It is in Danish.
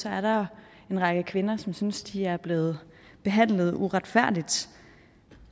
er der en række kvinder som synes de er blevet behandlet uretfærdigt